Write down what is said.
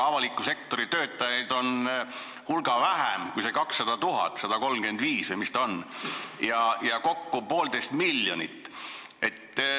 Avaliku sektori töötajaid on hulga vähem kui see 200 000, 135 000 või mis ta on, ja kokku kulub poolteist miljonit.